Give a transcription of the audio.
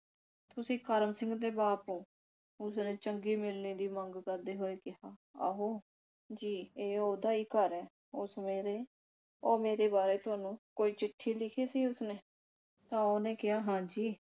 ਤੁਸੀਂ ਕਰਮ ਸਿੰਘ ਦੇ ਬਾਪ ਓ ਉਸਨੇ ਚੰਗੀ ਮਿਲਣੀ ਦੀ ਮੰਗ ਕਰਦੇ ਹੋਏ ਕਿਹਾ ਆਹੋ ਜੀ, ਇਹ ਉਹਦਾ ਹੀ ਘਰ ਐ। ਉਹ ਸਵੇਰੇ ਉਹ ਮੇਰੇ ਬਾਰੇ ਤੁਹਾਨੂੰ ਕੋਈ ਚਿੱਠੀ ਲਿਖੀ ਸੀ ਉਸਨੇ। ਤਾਂ ਉਹਨੇ ਕਿਹਾ ਹਾਂਜੀ